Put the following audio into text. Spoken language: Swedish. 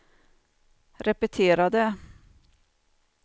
repetera det